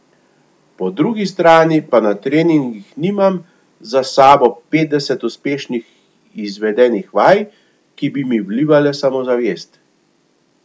Po drugi strani pa na treningih nimam za sabo petdeset uspešno izvedenih vaj, ki bi mi vlivale samozavest.